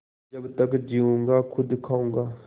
जब तक जीऊँगा खुद खाऊँगा